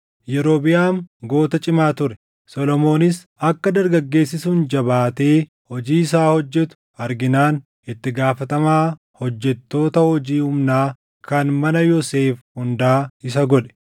Yerobiʼaam goota cimaa ture; Solomoonis akka dargaggeessi sun jabaatee hojii isaa hojjetu arginaan itti gaafatamaa hojjettoota hojii humnaa kan mana Yoosef hundaa isa godhe.